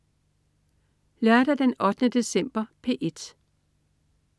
Lørdag den 8. december - P1: